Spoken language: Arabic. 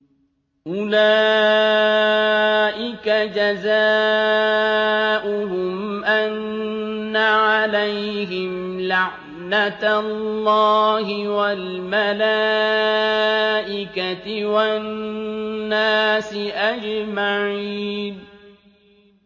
أُولَٰئِكَ جَزَاؤُهُمْ أَنَّ عَلَيْهِمْ لَعْنَةَ اللَّهِ وَالْمَلَائِكَةِ وَالنَّاسِ أَجْمَعِينَ